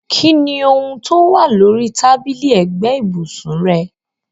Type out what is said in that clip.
Kini oun towa lórí tábìlì ẹ́gbẹ̀ ibùsùn rẹ?